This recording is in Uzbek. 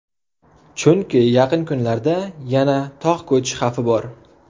Chunki yaqin kunlarda yana tog‘ ko‘cish xavfi bor.